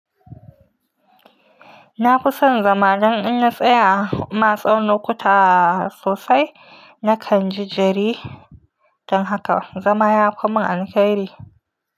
Na fi son zama dan in na tsaya. Ma tsawon lokuta sosai na kan ji jari. Dan haka zama yafi mun alhakairi.